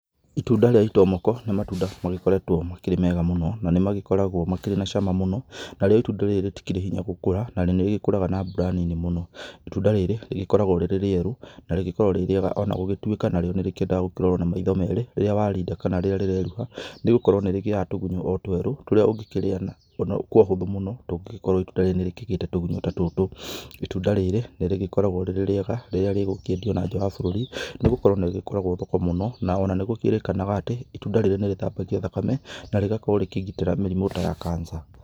Itunda rĩa itomoko nĩ matunda magĩkoretwo makĩrĩ mega mũno na nĩ magĩkoragwo makĩrĩ na cama mũno, narĩo itunda rĩrĩ rĩtikĩrĩ hinya gũkũra na nĩ rĩgĩkũraga na mbura nini mũno, itunda rĩrĩ rĩgĩkoragwo rĩrĩ rĩerũ na rĩgĩkoragwo rĩrĩ rĩega o na gũgĩtuĩka narĩo nĩ rĩkĩendaga gũkĩrorwo na maitho merĩ, rĩrĩa warinda kana rĩrĩa rĩreruha, nĩ gũkorwo nĩ rĩgĩaga tũgunyo o twerũ tũrĩa ũngĩkĩrĩa kwa ũhũthũ mũno tũngĩgĩkorwo itũnda rĩrĩ nĩ rĩgĩte tũgunyũ ta tũtũ, itunda rĩrĩ nĩ rĩgĩkoragwo rĩrĩ rĩega rĩrĩa rĩgũkĩendio na nja wa bũrũri, nĩ gũkorwo nĩ rĩgĩkoragwo thoko mũno, na o na nĩ gũkĩrĩkanaga atĩ, itunda rĩrĩ nĩ rĩthambagia thakame, na rĩgakorwo rĩkĩgitĩra mĩrimũ ta ya cancer